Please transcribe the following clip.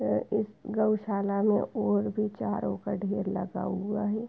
अ इस गौशाला में ओर भी चारों का ढेर लगा हुआ है।